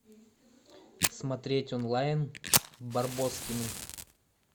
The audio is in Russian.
смотреть онлайн барбоскины